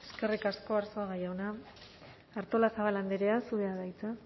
eskerrik asko arzuaga jauna artolazabal andrea zurea da hitza